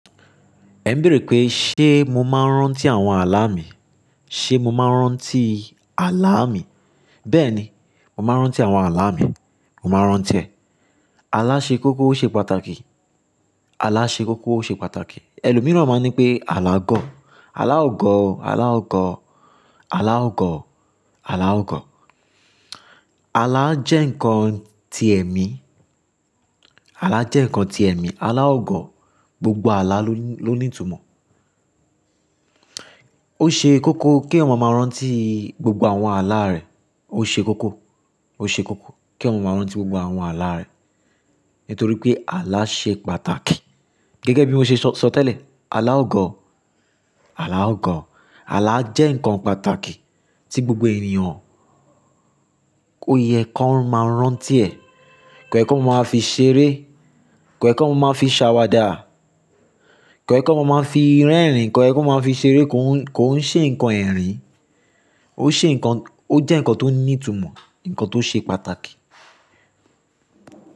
Ẹ ń bèèrè pé, ṣe mo máa ń rántí àwọn ààlà mi? Ṣe mo máa ń rántí ààlà mi? Bẹ́ẹ̀ni, mo máa ń rántí àwọn ààlà mi. Mo máa ń rántí ẹ̀. Ààlà ṣe kókó o ṣe pàtàkì. Ààlà ṣe kókó ṣe pàtàkì. Ẹ̀lòmíràn máa ń nipé ààlà gọ̀. Ààlà o gọ̀, ààlà o gọ̀, ààlà o gọ̀, ààlà o gọ̀. Ààlà jẹ́ ǹkan ti ẹ̀mí. Ààlà jẹ́ ǹkan ti ẹ̀mí. Ààlà o gọ̀. Gbogbo ààlà ló níì, ló ní ìtumọ̀. Ó ṣe kókó kí èèyàn máa rántí gbogbo àwọn ààlà rẹ̀. Ó ṣe kókó, ó ṣe kókó kí èèyàn máa rántí gbogbo àwọn ààlà rẹ̀. Nítorí pé ààlà ṣe pàtàkì. Gẹ́gẹ́ bí mo ṣe sọ, sọ tẹ́lẹ̀, àlà o gọ̀, àlà o gọ̀. Ààlà jẹ́ ǹkan pàtàkì tí gbogbo ènìyàn kò yẹ kó máa ń rántí ẹ̀, kò yẹ kó máa fi ṣeré, kò yẹ kó máa fi ṣàwàdà, kò yẹ kó máa fi rẹ́rìn-ín, kò yẹ kó máa fi ṣeré, kò ń, kò ń ṣe ǹkan ẹ̀rín. Ó ṣe ǹkan-- ó jẹ́ ǹkan tó ní ìtumọ̀, ǹkan tó ṣe pàtàkì.